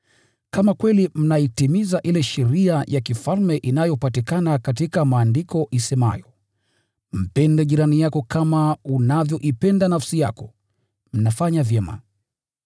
Kama kweli mnaitimiza ile sheria ya kifalme inayopatikana katika Maandiko isemayo, “Mpende jirani yako kama unavyoipenda nafsi yako,” mnafanya vyema.